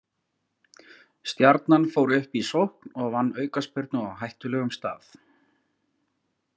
Stjarnan fór upp í sókn og vann aukaspyrnu á hættulegum stað.